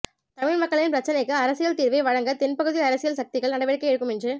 தமிழ் மக்களின் பிரச்சினைக்கு அரசியல் தீர்வை வழங்க தென்பகுதி அரசியல் சக்திகள் நடவடிக்கை எடுக்கும் என்று